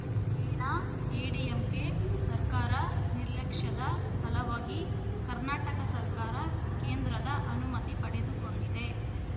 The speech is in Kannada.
ಏನಾ ಎಐಎಡಿಎಂಕೆ ಸರ್ಕಾರ ನಿರ್ಲಕ್ಷ್ಯದ ಫಲವಾಗಿ ಕರ್ನಾಟಕ ಸರ್ಕಾರ ಕೇಂದ್ರದ ಅನುಮತಿ ಪಡೆದುಕೊಂಡಿದೆ